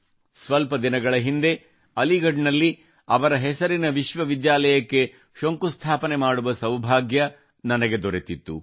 ಸ್ವಲ್ಪ ದಿನಗಳ ಹಿಂದೆ ಅಲಿಗಢ್ ನಲ್ಲಿ ಅವರ ಹೆಸರಿನ ವಿಶ್ವವಿದ್ಯಾಲಯಕ್ಕೆ ಶಂಕುಸ್ಥಾಪನೆ ಮಾಡುವ ಸೌಭಾಗ್ಯ ನನಗೆ ದೊರೆತಿತ್ತು